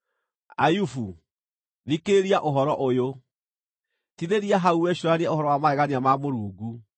“Ayubu, thikĩrĩria ũhoro ũyũ; tithĩria hau wĩcũũranie ũhoro wa magegania ma Mũrungu.